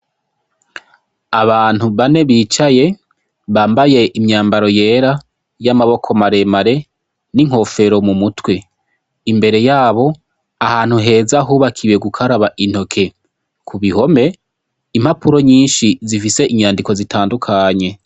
Abantu bane bicaye bambaye imyabaro yera y'amaboko maremare n'inkofero mu mutwe. Imbere yabo ahantu heza hubakiwe gukaraba intoke. K'ubihome, impapuro nyinshi zifise inyandiko zitandukanye.